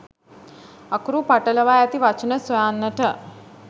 අකුරු පටලවා ඇති වචන සොයන්නට